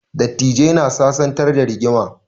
Dattijai na sasantar da rigima